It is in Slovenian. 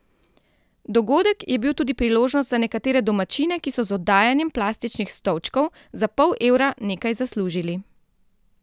Dogodek je bil tudi priložnost za nekatere domačine, ki so z oddajanjem plastičnih stolčkov za pol evra nekaj zaslužili.